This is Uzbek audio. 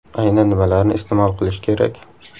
Aynan nimalarni iste’mol qilish kerak?